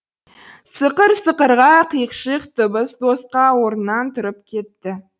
сықыр сықырға қиқ шиқ дыбыс қоса орнынан тұрып кетті